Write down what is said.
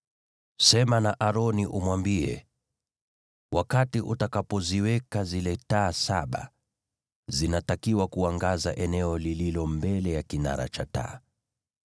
“Sema na Aroni umwambie, ‘Wakati utakapoziweka zile taa saba, zinatakiwa kuangaza eneo lililo mbele ya kinara cha taa.’ ”